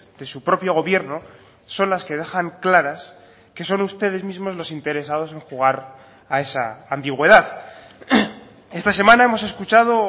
de su propio gobierno son las que dejan claras que son ustedes mismos los interesados en jugar a esa ambigüedad esta semana hemos escuchado